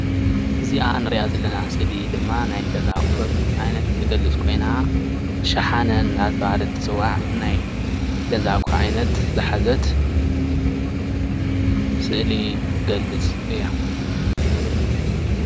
እዚኣ እንሪኣ ዘለና እስሊ ድማ ናይ ገዛ ኣቑሑት ዓይነት እትገልፅ ኾይና ሸሓነ እናተባሃለት እትፅዋዕ ናይ ገዛ ኣቕሑት ዓይነት ዝሓዘት ስእሊ ትገልፅ እያ፡፡